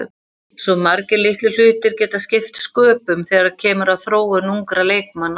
Svo margir litlir hlutir geta skipt sköpum þegar kemur að þróun ungra leikmanna.